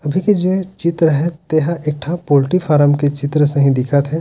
अभी के जो चित्र हैते हा एक ठा पोटर्री फार्म के चित्र सहित दिखत हे।